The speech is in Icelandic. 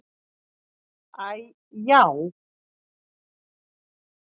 Æ já.